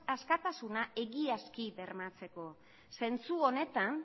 askatasuna egiazki bermatzeko zentzu honetan